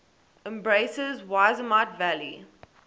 embraces yosemite valley